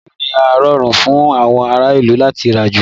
Rédíò ni ó rọrùn fún àwọn ará ìlú láti rà jù